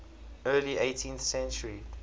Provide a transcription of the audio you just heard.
early eighteenth century